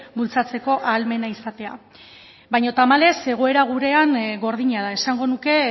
bultzatzeko ahalmena izatea baino tamalez egoera gurean gordina da esango nuke